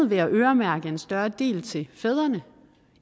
ved at øremærke en større del til fædrene